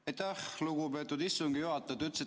Aitäh, lugupeetud istungi juhataja!